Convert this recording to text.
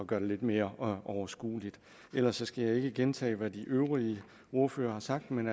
gør det lidt mere overskueligt ellers skal jeg ikke gentage hvad de øvrige ordførere har sagt men